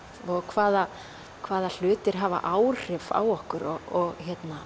hvaða hvaða hlutir hafa áhrif á okkur og